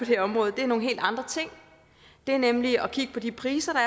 det område er nogle helt andre ting det er nemlig at kigge på de priser